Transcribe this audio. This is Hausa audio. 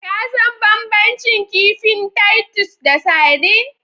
Ka san banbancin kifin Titus da sardine?